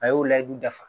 A y'o ladu dafa